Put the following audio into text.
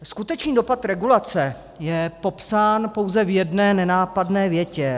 Skutečný dopad regulace je popsán pouze v jedné nenápadné větě.